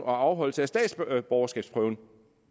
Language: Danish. og afholdelse af statsborgerskabsprøven